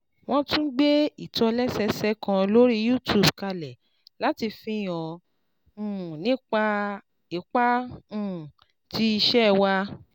Wọ́n tún gbé ìtòlẹ́sẹẹsẹ kan lórí YouTube kalẹ̀ láti fi hàn um nípa ipa um tí iṣẹ́ wa